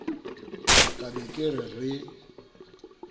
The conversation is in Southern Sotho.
ka ba ke re re